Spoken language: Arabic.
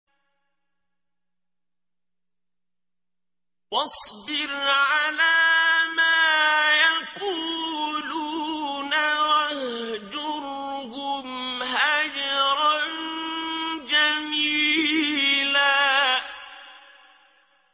وَاصْبِرْ عَلَىٰ مَا يَقُولُونَ وَاهْجُرْهُمْ هَجْرًا جَمِيلًا